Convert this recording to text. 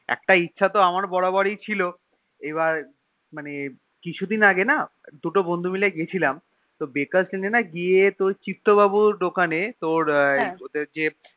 একটা ইচ্ছা তো আমার বরাবর ছিল এবার মানে কিছুদিন আগে না দুটো বন্ধু মিলে গেছিলাম তো Deckers lane না গিয়ে তোর চিত্তবাবুর দোকান তোর ওদের যে